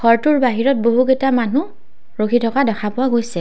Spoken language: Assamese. ঘৰটোৰ বাহিৰত বহুকেইটা মানুহ ৰখি থকা দেখা পোৱা গৈছে।